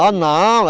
Ah, não!